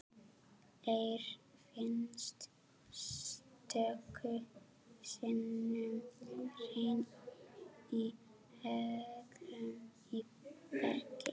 Eir finnst stöku sinnum hreinn í holum í bergi.